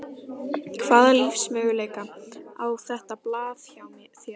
Hvaða lífsmöguleika á þetta blað hjá þér?